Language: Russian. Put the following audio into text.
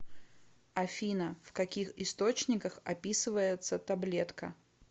афина в каких источниках описывается таблетка